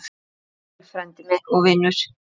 Farðu vel, frændi og vinur.